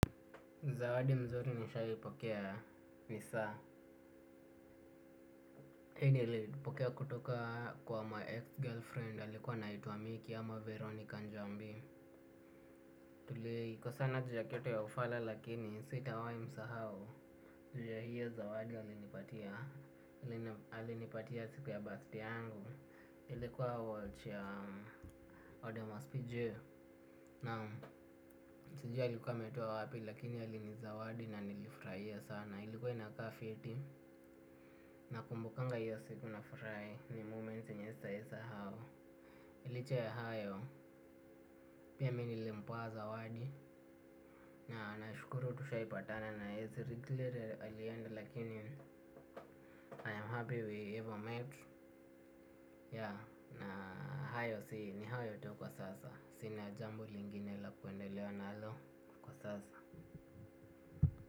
Zawadi nzuri nishahi pokea ni saa. Hii nilipokea kutoka kwa my ex-girlfriend alikuwa anaitwa Micky ama Veronica Njambi. Tulikosana juu ya kitu ya ufala, lakini sitawahi msahau, juu ya hiyo zawadi alinipatia, alinipatia siku ya birthday yangu, ilikuwa watch ya Odomos PJ. Naam. Sijui alikuwa ametoa wapi lakini alinizawadi na nilifurahia sana. Ilikuwa inakaa fiti, nakumbukanga hiyo siku nafurahi. Ni moment yenye sitaahi sahau. Liche ya hayo, pia mi nilimpea zawadi. Na nashukuru tushaipatana na yeye. Si regret alienda lakini I am happy we ever met. Yeah na hayo si ni hayo tu kwa sasa. Sina jambo lingine la kuendelea nalo kwa sasa.